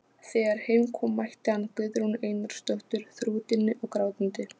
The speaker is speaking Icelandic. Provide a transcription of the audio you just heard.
Þær fengu tilþrifalítil en freyðandi endalok.